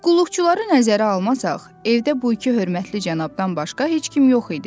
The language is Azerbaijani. Qulluqçuları nəzərə almasaq, evdə bu iki hörmətli cənabdan başqa heç kim yox idi.